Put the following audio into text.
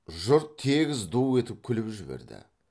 жұрт тегіс ду етіп күліп жіберді